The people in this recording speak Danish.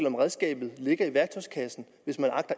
om redskabet ligger i værktøjskassen hvis man